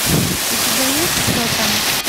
у тебя есть кто там